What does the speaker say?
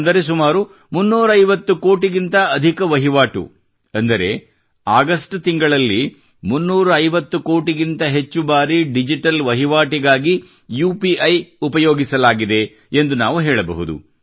ಅಂದರೆ ಸುಮಾರು 350 ಕೋಟಿಗಿಂತ ಅಧಿಕ ವಹಿವಾಟು ಅಂದರೆ ಆಗಸ್ಟ್ ತಿಂಗಳಿನಲ್ಲಿ 350 ಕೋಟಿಗಿಂತ ಹೆಚ್ಚು ಬಾರಿ ಡಿಜಿಟಲ್ ವಹಿವಾಟಿಗಾಗಿ ಯುಪಿಐ ಉಪಯೋಗಿಸಲಾಗಿದೆ ಎಂದು ನಾವು ಹೇಳಬಹುದು